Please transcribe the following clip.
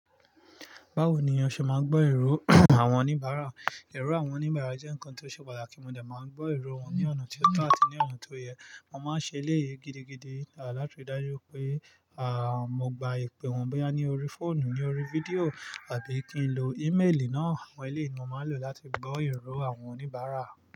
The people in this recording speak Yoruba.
Báwo ni a ṣe máa ń gbọ́ ìró àwọn oníbàárà? Ìró àwọn oníbàárà jẹ́ ǹkan tó ṣe pàtàkì. Mo de máa ń gbọ́ ìró wọn ní ọ̀nà tí ó tọ́ àti ní ọ̀nà tó yẹ. Mo máa ń ṣe eléyìí gidigidi láti ri dájú wipé, à, mo gba ìpè wọ́n bí i ní orí fóònù, ní orí video àbí kí n lo email náà. Àwọn eléyìí ni mo máa ń lò láti gbọ́ ìró àwọn oníbàárà.